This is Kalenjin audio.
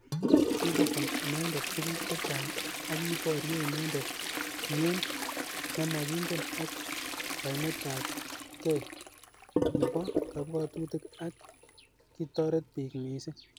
Kikobun inendet tukuk. chechang ak kiborye inendet mnyend nemakingen ak kaimet ab kei nebo kabwatutik ak.kitoret bik missing.